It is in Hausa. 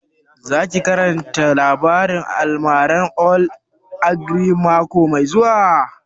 Shin za ki karanta labarin almaran old ogre mako mai zuwa?